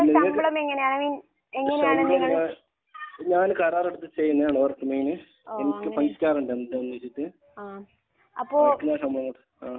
ഞങ്ങൾക്ക് പൈസയാണ് തരുന്നത്. ആഹ്.